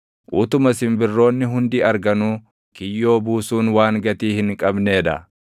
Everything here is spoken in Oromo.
Utuma simbirroonni hundi arganuu, kiyyoo buusuun waan gatii hin qabnee dha!